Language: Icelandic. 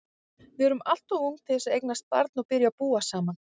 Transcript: Við erum alltof ung til að eignast barn og byrja að búa saman.